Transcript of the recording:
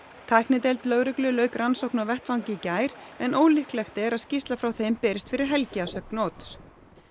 tæknideild lögreglu lauk rannsókn á vettvangi í gær en ólíklegt er að skýrsla frá þeim berist fyrir helgi að sögn Odds